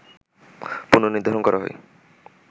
পুন-নির্ধারণ করা হয়